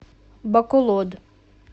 баколод